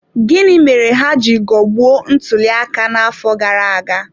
Gịnị mere ha ji ghọgbuo ntuliaka n'afọ gara aga?